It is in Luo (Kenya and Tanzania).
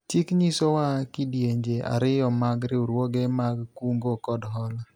chik nyisowa kidienje ariyo mag riwruoge mag kungo kod hola